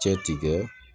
Cɛ tigɛ